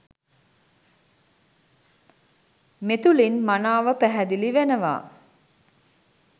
මෙතුළින් මනාව පැහැදිලි වෙනවා.